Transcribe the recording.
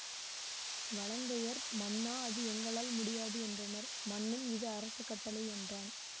வலங்கையர் மன்னா அது எங்களால் முடியாது என்றனர் மன்னன் இது அரச கட்டளை என்றான்